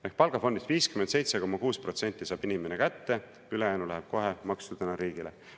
Ehk palgafondist 57,6% saab inimene kätte, ülejäänu läheb kohe maksudena riigile.